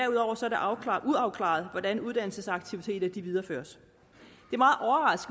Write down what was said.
uafklaret hvordan uddannelsesaktiviteterne videreføres